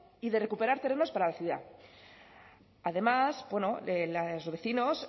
y de recuperar terrenos para la ciudad además los vecinos